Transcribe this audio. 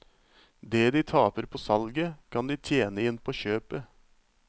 Det de taper på salget, kan de tjene inn på kjøpet.